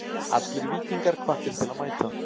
Allir Víkingar hvattir til að mæta.